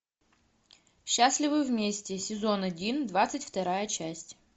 счастливы вместе сезон один двадцать вторая часть